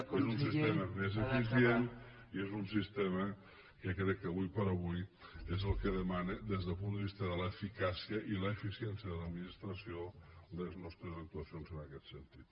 és un sistema més eficient i és un sistema que crec que ara per ara és el que es demana des del punt de vista de l’eficàcia i l’eficiència de l’administració en les nostres actuacions en aquest sentit